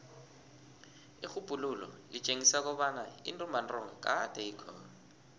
irhubhululo litjengisa kobana intumbantonga kade ikhona